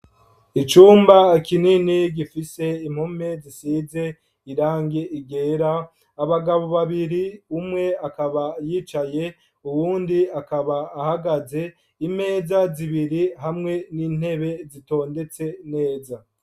Icumba kinini gifise impome zisize irangi ryera ,abagabo babiri umwe akaba yicaye uyundi akaba ahagaze, imeza zibiri hamwe nintebe zitondetse neza.